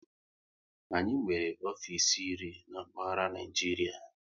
Anyị nwere ofisi iri n'mkpaghara Naijiria